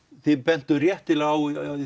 þið bentuð réttilega á í